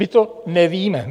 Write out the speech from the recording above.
My to nevíme.